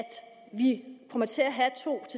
vi kommer til at have to